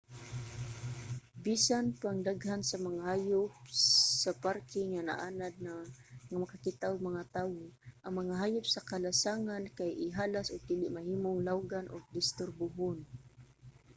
bisan pang daghan sa mga hayop sa parke ang naanad na nga makakita og mga tawo ang mga hayop sa kalasangan kay ihalas ug dili mahimong lawgan ug disturbuhon